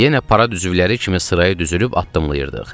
Yenə parad üzvləri kimi sıraya düzülüb addımlayırdıq.